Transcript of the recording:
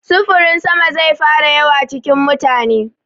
Sufurin sama zai fara yawa cikin mutane.